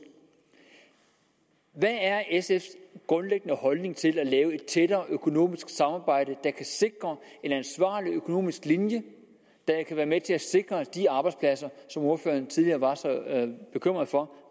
hvad er sfs grundlæggende holdning til at lave et tættere økonomisk samarbejde der kan sikre en ansvarlig økonomisk linje der kan være med til at sikre de arbejdspladser som ordføreren tidligere var så bekymret for